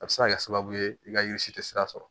A bɛ se ka kɛ sababu ye i ka yiri si tɛ sira sɔrɔ